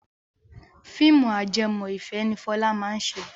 Fíìmù ajẹmọ́ ìfẹ́ ni Fọlá máa ṣe.